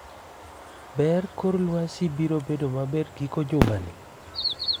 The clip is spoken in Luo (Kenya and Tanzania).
Be kor lwasi biro bedo maber giko juma ni?